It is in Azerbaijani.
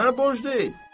Sənə borclu deyil.